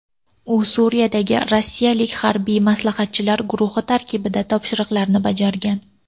U Suriyadagi rossiyalik harbiy maslahatchilar guruhi tarkibida topshiriqlarni bajargan.